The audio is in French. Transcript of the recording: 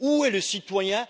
Où est le citoyen?